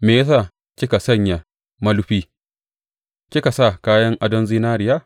Me ya sa kika sanya mulufi kika sa kayan adon zinariya?